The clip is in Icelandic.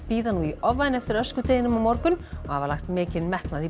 bíða nú í ofvæni eftir öskudeginum á morgun og hafa lagt mikinn metnað í